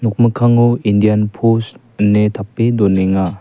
nokmikkango indian pos ine tape donenga.